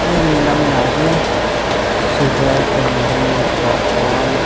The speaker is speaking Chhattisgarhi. ले मेला में आगे शुगर कैंडी पॉप कॉर्न --